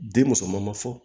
Den musoman ma fɔ